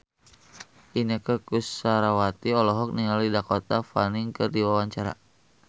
Inneke Koesherawati olohok ningali Dakota Fanning keur diwawancara